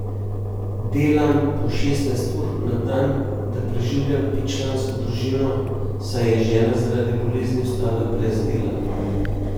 Delam po šestnajst ur na dan, da preživljam petčlansko družino, saj je žena zaradi bolezni ostala brez dela.